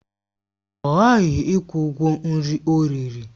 Ọ ghaghị ịkwụ ụgwọ nri ọ riri!